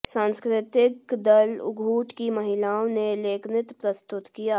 सांस्कृतिक दल उघूट की महिलाओं ने लेकनृत्य प्रस्तुत किया